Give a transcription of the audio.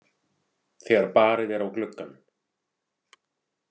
þegar barið er á gluggann.